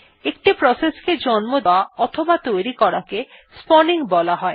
একটি প্রসেসকে জন্ম দেওয়া অথবা তৈরি করাকে স্পাউনিং বলা হয়